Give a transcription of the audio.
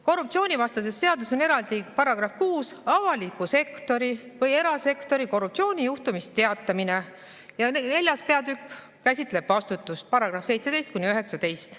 Korruptsioonivastases seaduses on eraldi § 6 "Avaliku või erasektori korruptsioonijuhtumist teatamine" ja 4. peatükk käsitleb vastutust, §‑d 17–19.